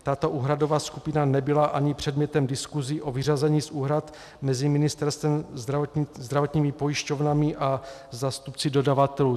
Tato úhradová skupina nebyla ani předmětem diskusí o vyřazení z úhrad mezi ministerstvem, zdravotními pojišťovnami a zástupci dodavatelů.